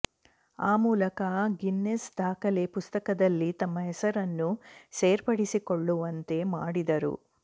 ಆ ಮೂಲಕ ಗಿನ್ನೆಸ್ ದಾಖಲೆ ಪುಸ್ತಕದಲ್ಲಿ ತಮ್ಮ ಹೆಸರನ್ನು ಸೇರ್ಪಡೆಗೊಳಿಸಿಕೊಳ್ಳುವಂತೆ ಮಾಡಿದರು